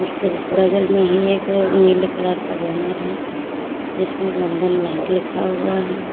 बगल में ही एक नीले कलर का बैनर है जिसमें बंधन बैंक लिखा हुआ है।